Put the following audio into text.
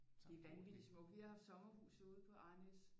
Det er vanvittigt smukt vi har haft sommerhus ude på Arnæs